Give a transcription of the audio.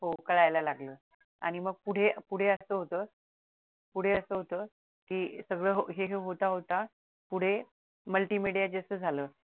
हो कळायला लागलं आणि मग पुढे पुढे असं होत पुढे असं होत कि सगळं हे जे होता होता पुढे multimedia जस झालं